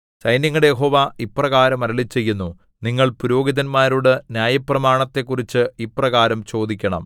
സൈന്യങ്ങളുടെ യഹോവ ഇപ്രകാരം അരുളിച്ചെയ്യുന്നു നിങ്ങൾ പുരോഹിതന്മാരോട് ന്യായപ്രമാണത്തെക്കുറിച്ച് ഇപ്രകാരം ചോദിക്കണം